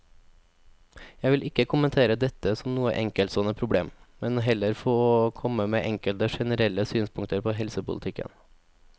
Jeg vil ikke kommentere dette som noe enkeltstående problem, men heller få komme med enkelte generelle synspunkter på helsepolitikken.